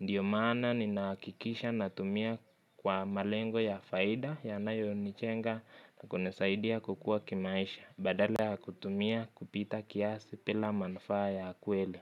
Ndio maana ninahakikisha natumia kwa malengo ya faida, yanayonichenga na kunisaidia kukua kimaisha. Badale ya kutumia kupita kiasi pila manufaa ya kweli.